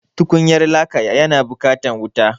Tukunyar laka yana buƙatar wuta.